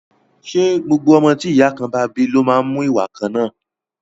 Ṣé gbogbo ọmọ tí ìyá kan náà bá bí ló má ń mú ìwà kan náà?